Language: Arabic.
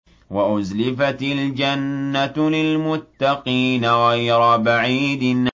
وَأُزْلِفَتِ الْجَنَّةُ لِلْمُتَّقِينَ غَيْرَ بَعِيدٍ